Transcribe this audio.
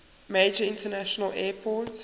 major international airport